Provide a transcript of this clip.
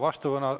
Aitäh!